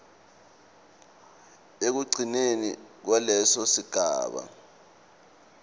ekugcineni kwaleso sigaba